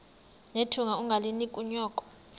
nethunga ungalinik unyoko